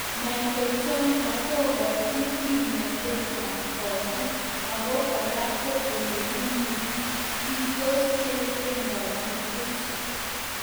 Mitochondria kokachin kimnotetab kogut ako kora ko olepunu kitos chependati puch